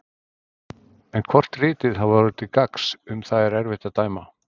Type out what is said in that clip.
En hvort ritið hafi orðið til gagns, um það er erfitt að dæma.